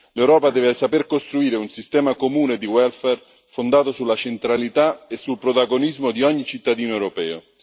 L'Europa deve saper costruire un sistema comune di welfare fondato sulla centralità e sul protagonismo di ogni cittadino europeo.